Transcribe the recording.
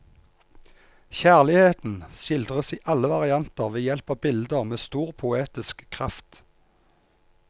Kjærligheten skildres i alle varianter ved hjelp av bilder med stor poetisk kraft.